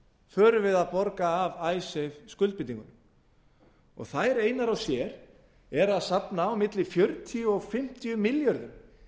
förum við að borga af icesave skuldbindingunum og þær einar og sér eru að safna milli fjörutíu og fimmtíu milljörðum